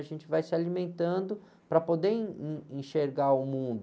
A gente vai se alimentando para poder in, in, enxergar o mundo.